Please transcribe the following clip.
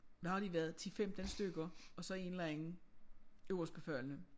Hvad har de været 10 15 stykker og så en eller anden øverstbefalende